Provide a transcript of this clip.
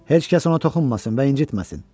Heç kəs ona toxunmasın və incitməsin.